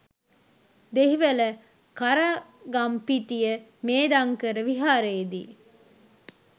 Dehiwala Karagampitiya Medhankara විහාරයේදී